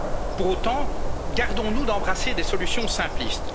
le coronavirus. Pour autant, gardons nous d'embrasser des solutions